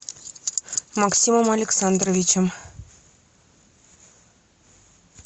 максимом александровичем